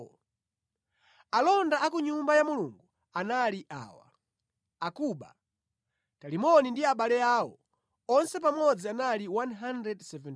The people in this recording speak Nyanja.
Alonda a ku Nyumba ya Mulungu anali awa: Akubu, Talimoni ndi abale awo. Onse pamodzi anali 172.